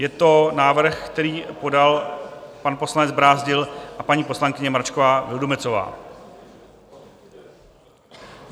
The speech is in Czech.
Je to návrh, který podal pan poslanec Brázdil a paní poslankyně Mračková Vildumetzová.